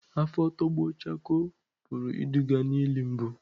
Afọ tọgbọ chakoo pụrụ iduga n'ili mbụ.